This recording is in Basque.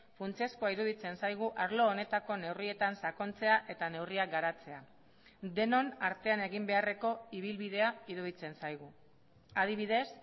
funtsezkoa iruditzen zaigu arlo honetako neurrietan sakontzea eta neurriak garatzea denon artean egin beharreko ibilbidea iruditzen zaigu adibidez